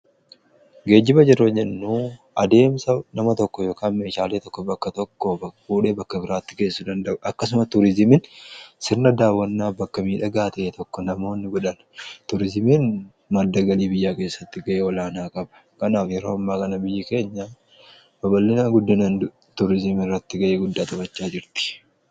Geejiba yeroo jennu adeemsa nama tokko yookaan meeshaalee tokko bakka tokko fuudhee bakka biraatti geessu danda'a. Akkasuma tuurizimiin sirna daawwannaa bakka miidhagaa ta'e tokko namoonni godhan tuurizimiin madda galii biyyaa keessatti ga'e olaanaa qaba. Kanaaf yeroo kana biyyi keenya babal'inaa guddinan tuurizimii irratti ga'ee guddaa taphachaa jirti.